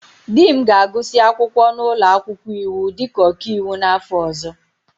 Di m ga-agụsị akwụkwọ n'ụlọ akwụkwọ iwu dịka ọkaiwu n'afọ ọzọ.